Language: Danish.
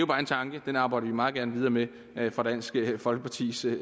bare en tanke og den arbejder vi meget gerne videre med fra dansk folkepartis side